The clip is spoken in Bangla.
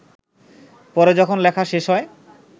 পরে যখন লেখা শেষ হয়